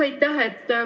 Aitäh!